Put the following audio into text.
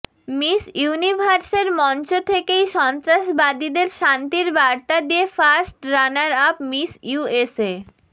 miss ইউনিভার্সের মঞ্চ থেকেই সন্ত্রাসবাদীদের শান্তির বার্তা দিয়ে first runner up Miss USA